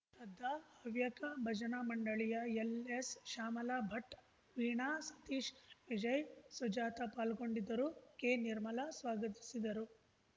ಶ್ರದ್ಧಾ ಹವ್ಯಕ ಭಜನಾ ಮಂಡಳಿಯ ಎಲ್‌ಎಸ್‌ಶ್ಯಾಮಲಾ ಭಟ್‌ ವೀಣಾ ಸತೀಶ್‌ ವಿಜಯ್ ಸುಜಾತಾ ಪಾಲ್ಗೊಂಡಿದ್ದರು ಕೆನಿರ್ಮಲಾ ಸ್ವಾಗತಿಸಿದರು